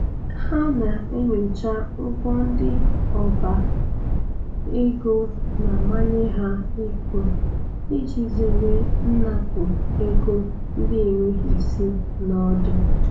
Ha na-enyocha ụgwọ ndị ọba ego na-amanye ha ịkwụ iji zere nnapụ ego ndị enweghi isi na ọdụ.